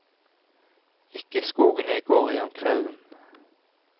Ikke skogen jeg går i om kvelden.